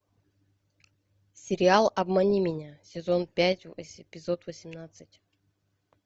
сериал обмани меня сезон пять эпизод восемнадцать